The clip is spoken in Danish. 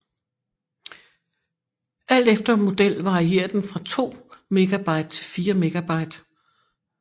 Alt efter model varierer den fra 2 MB til 4 MB